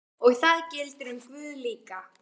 Og það gildir um guð líka.